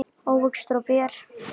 ávextir og ber